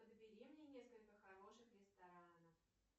подбери мне несколько хороших ресторанов